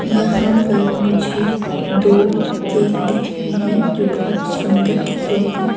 यहाँ पर मुझे दो केक दिख रहे हैं जो बहुत सुंदर दिख रहे हैं।